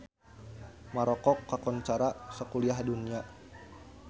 Maroko kakoncara sakuliah dunya